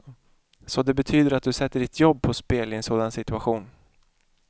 Så det betyder att du sätter ditt jobb på spel i en sådan situation.